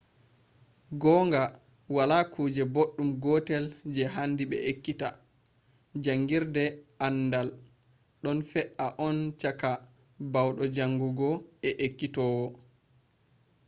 gongaa wala kuje boɗɗum gotel je handi be ekkita jaangirde aandaal ɗon fe’a on cakka bauɗo jaangungo e ekkitowo